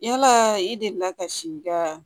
Yala i delila ka si i ka